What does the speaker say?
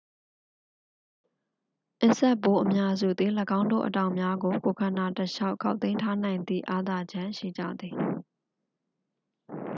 အင်းဆက်ပိုးအများစုသည် ၎င်းတို့ အတောင်များကို ကိုယ်ခန္ဓာတစ်လျှောက် ခေါက်သိမ်းထားနိုင်သည့် အားသာချက်ရှိကြသည်